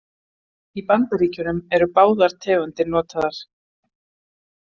Í Bandaríkjunum eru báðar tegundir notaðar.